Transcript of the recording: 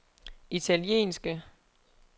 italienske